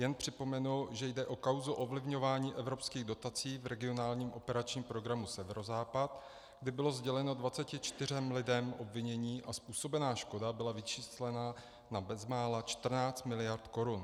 Jen připomenu, že jde o kauzu ovlivňování evropských dotací v regionálním operačním programu Severozápad, kdy bylo sděleno 24 lidem obvinění a způsobená škoda byla vyčíslena na bezmála 14 miliard korun.